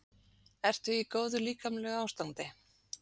Ertu í góðu líkamlegu ástandi?